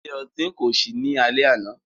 Ile-ọti ko ṣii ni alẹ ana.